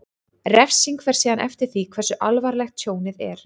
Refsing fer síðan eftir því hversu alvarlegt tjónið er.